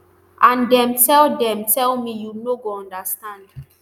and dem tell dem tell me you no go understand